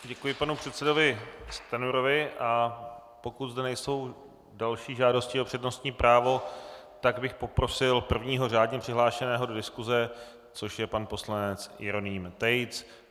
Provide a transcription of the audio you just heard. Děkuji panu předsedovi Stanjurovi, a pokud zde nejsou další žádosti o přednostní právo, tak bych poprosil prvního řádně přihlášeného do diskuse, což je pan poslanec Jeroným Tejc.